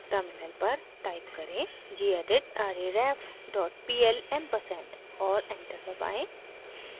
terminal पर type करें: gedit arrayref dot pl ampersand और एंटर दबाएं